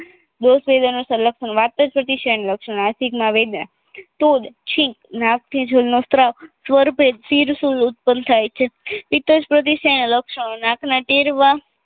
દોસએરયા ના લક્ષણ ના લક્ષણ માસિકમાં વેદના તો છિક નાકથી જળનો સ્ત્રાવ સ્વરપેટ સિરસુલ ઉતત્પન્ન થાય છે પિતજપ્રાદેસીયા ના લક્ષણ નાક ના ટેરવાં